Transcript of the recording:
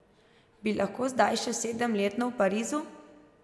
Bi lahko zdaj še sedemletno v Parizu?